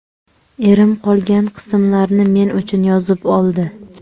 Erim qolgan qismlarni men uchun yozib oldi.